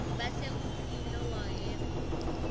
bese ubeka luphawu